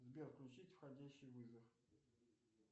сбер включить входящий вызов